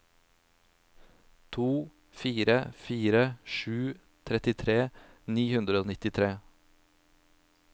to fire fire sju trettitre ni hundre og nittitre